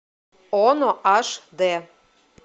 оно аш д